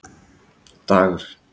Dagur